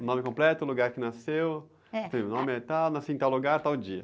O nome completo, o lugar que nasceu...h.ssim, o nome é tal, nasci em tal lugar, tal dia.